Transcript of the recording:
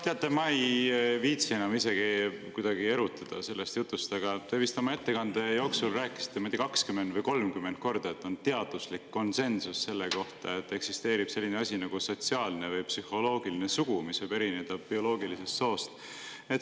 Teate, ma ei viitsi enam isegi erutuda sellest jutust, aga te oma ettekande jooksul ütlesite vist 20 või 30 korda, et on teaduslik konsensus selles, et eksisteerib selline asi nagu sotsiaalne või psühholoogiline sugu, mis võib erineda bioloogilisest soost.